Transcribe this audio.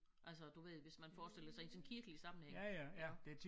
Altså du ved hvis man forestiller sig i en sådan kirkelig sammenhæng iggå